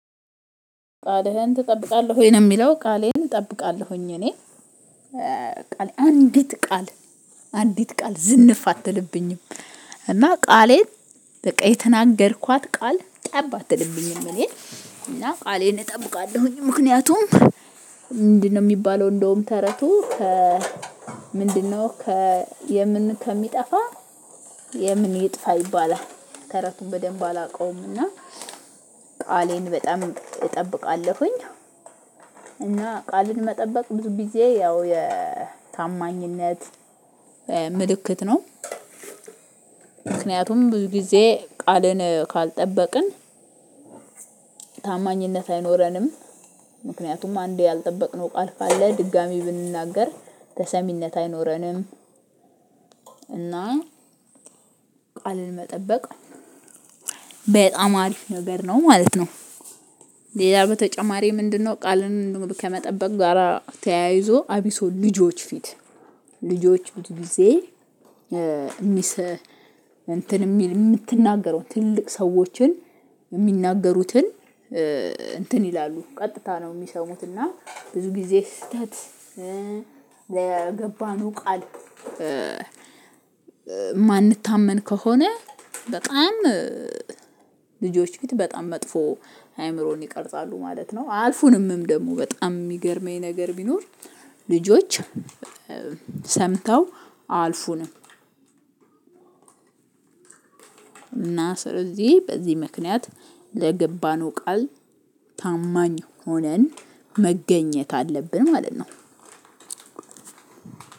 ቃልህን ትጠብቃለህ ወይ ነው? የሚለው ቃሌን እጠብቃለሁኝ እኔ ቃል አንዲት ቃል አንዲት ቃል ዝንፍ አትልብኝም እና ቃሌን በቃ የተናገርኳት ቃል ጠብ አትልብኝም እኔ እና ቃሌን እጠብቃለሁኝ። ምክንያቱም ምንድነው የሚባለው እንደውም ተረቱ ከ ምንድነው ከ የምን ከሚጠፋ የምን ይጥፋ ይባላል ተረቱን በደንብ አላውቀውም እና ቃሌን በጣም እጠብቃለሁኝ እና ቃልን መጠበቅ ብዙ ጊዜ ያው የታማኝነት ምልክት ነው ምክንያቱም ብዙ ጊዜ ቃልን ካልጠበቅን ታማኝነት አይኖረንም። ምክንያቱም አንዴ ያልጠበቅነው ቃል ካለ ድጋሚ ብንናገር ተሰሚነት አይኖረንም። እና ቃልን መጠበቅ በጣም አሪፍ ነገር ነው ማለት ነው። ሌላ በተጨማሪ ምንድነው ቃልን ከመጠበቅ ጋራ ተያይዞ አብሶ ልጆች ፊት ልጆች ብዙ ጊዜ የምትናገረው ትልቅ ሰዎችን የሚናገሩትን እንትን ይላሉ ቀጥታ ነው የሚሰሙት እና ብዙ ጊዜ ስህተት ለገባንውንቃል የማንታመን ከሆነ በጣም ልጆች ፊት በጣም መጥፎ አእምሮን ይቀርጻሉ ማለት ነው። አያፉንምም ደግሞ በጣም የሚገርመኝ ነገር ቢኖር ልጆች ሰምተው አያልፉንም። እና ስለዚህ በዚህ ምክንያት ለገባንው ቃል ታማኝ ሆነን መገኘት አለብን ማለት ነው።